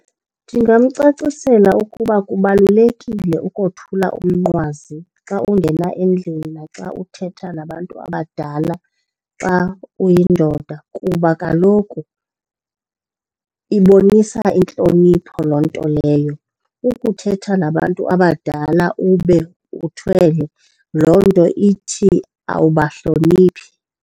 Ndingamcacisela ukuba kubalulekile ukothula umnqwazi xa ungena endlini naxa uthetha nabantu abadala xa uyindoda kuba kaloku ibonisa intlonipho loo nto leyo. Ukuthetha nabantu abadala ube uthwele loo nto ithi awubahloniphi.